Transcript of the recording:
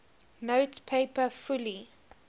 note paper fully